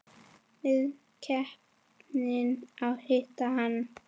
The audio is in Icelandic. Var heppin að hitta hann.